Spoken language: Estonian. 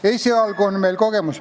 Esialgu on meil kogemus ...